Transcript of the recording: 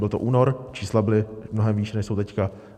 Byl to únor, čísla byla mnohem vyšší, než jsou teď.